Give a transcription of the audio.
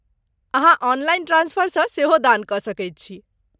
अहाँ ऑनलाइन ट्रान्सफरसँ सेहो दान कऽ सकैत छी।